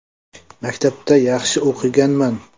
Maktabda yaxshi o‘qiganman.